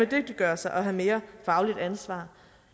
dygtiggøre sig og have mere fagligt ansvar